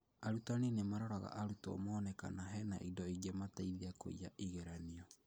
Arutani nĩmaroraga arutwo mone kana hena indo ingĩmateithia kũiya igeranio